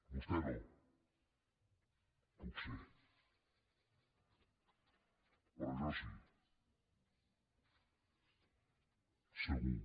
vostè no potser però jo sí segur